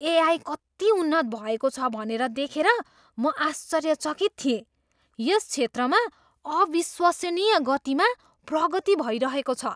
AI कति उन्नत भएको छ भनेर देखेर म आश्चर्यचकित थिएँ। यस क्षेत्रमा अविश्वसनीय गतिमा प्रगति भइरहेको छ।